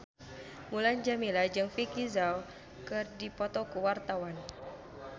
Mulan Jameela jeung Vicki Zao keur dipoto ku wartawan